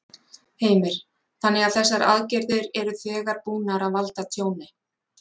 Heimir: Þannig að þessar aðgerðir eru þegar búnar að valda tjóni?